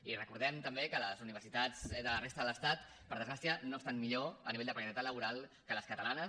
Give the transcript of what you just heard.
i recordem també que les universitats de la resta de l’estat per desgràcia no estan millor a nivell de precarietat laboral que les catalanes